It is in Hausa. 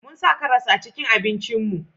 Mun sa karas a cikin abinci mu